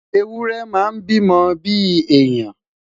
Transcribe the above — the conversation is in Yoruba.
ewúrẹ máa n bi mó bi èèyàn